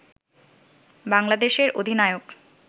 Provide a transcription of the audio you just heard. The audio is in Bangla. বাংলাদেশের অধিনায়ক